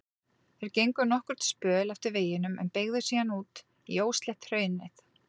Þeir gengu nokkurn spöl eftir veginum en beygðu síðan út í óslétt hraunið.